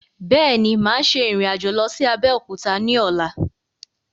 Bẹ́ẹ̀ni, máa ṣe ìrìn-àjò lọ sí Abẹ́òkúta ni ọ̀la